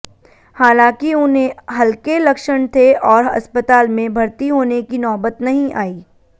हालांकि उन्हें हल्के लक्षण थे और अस्पताल में भर्ती होने की नौबत नहीं आई